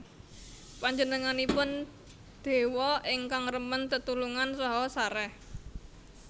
Panjenenganipun déwa ingkang remen tetulungan saha sarèh